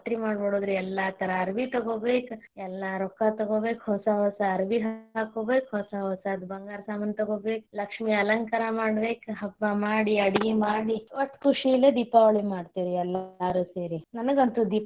ಜಾತ್ರಿ ಮಾಡ್ ಬಿಡುದ್ ರೀ ಎಲ್ಲಾ ತರಾ ಅರವಿ ತೊಗೊಬೇಕ್ ಎಲ್ಲಾ ರೊಕ್ಕಾ ತೊಗೊಬೇಕ್ ಹೊಸಾ ಹೊಸಾ ಅರವಿ ಹಾಕೊಬೇಕ್ ಹೊಸಾ ಹೊಸಾದ್ ಬಂಗಾರ ಸಾಮಾನ ತೊಗೊಬೇಕ್ ಲಕ್ಷ್ಮಿ ಅಲಂಕಾರ ಮಾಡ್ಬೇಕ್ ಹಬ್ಬ ಮಾಡಿ ಅಡಗಿ ಮಾಡಿ ವಟ್ಟ್ ಕುಶಿಲೇ ದೀಪಾವಳಿ ಮಾಡ್ತೇವಿ ಎಲ್ಲಾರು ಸೇರಿ ನನಗ ಅಂತೂ.